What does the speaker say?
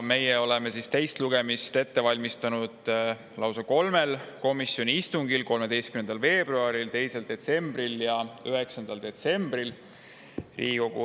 Teist lugemist oleme ette valmistanud lausa kolmel komisjoni istungil: 13. veebruaril, 2. detsembril ja 9. detsembril.